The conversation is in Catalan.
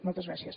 moltes gràcies